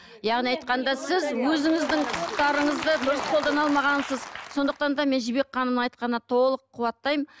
яғни айтқанда сіз өзіңіздің құқытарыңызды дұрыс қолдана алмағансыз сондықтан да мен жібек ханымның айтқанына толық қуаттаймын